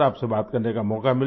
आपसे बात करने का मौक़ा मिला